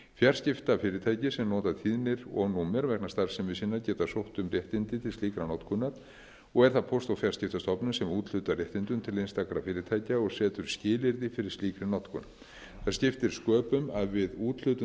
fjarskiptafyrirtæki sem nota tíðnir og númer vegna starfsemi sinnar geta sótt um réttindi til slíkrar notkunar og er það póst og fjarskiptastofnun sem úthlutar réttindum til einstakra fyrirtækja og setur skilyrði fyrir slíkri notkun það skiptir sköpum að við úthlutun